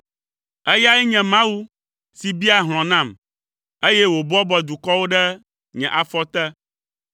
Eyae nye Mawu si biaa hlɔ̃ nam, eye wòbɔbɔa dukɔwo ɖe nye afɔ te,